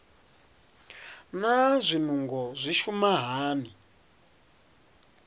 naa zwinungo zwi shuma hani